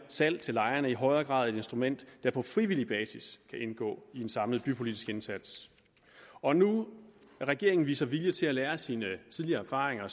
salg til lejerne i højere grad et instrument der på frivillig basis kan indgå i en samlet bypolitisk indsats og nu da regeringen viser vilje til at lære af sine tidligere erfaringer